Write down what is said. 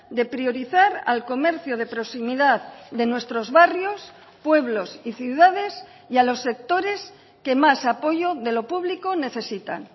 de priorizar al comercio de proximidad de nuestros barrios pueblos y ciudades y a los sectores que más apoyo de lo público necesitan